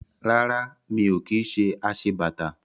Rárá. Mi ò kí ṣe aṣebàtà